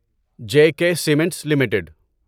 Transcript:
J K cements limited